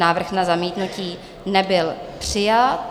Návrh na zamítnutí nebyl přijat.